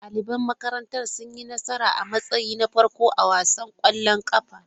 Daliban makarantara sun yi nasara a matsayi na farko a wasan ƙwallon ƙafa.